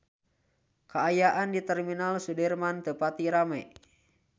Kaayaan di Terminal Sudirman teu pati rame